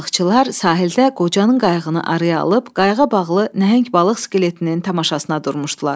Balıqçılar sahildə qocanın qayığını araya alıb, qayıqa bağlı nəhəng balıq skeletinin tamaşasına durmuşdular.